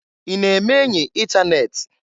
I na-eme enyi itanet?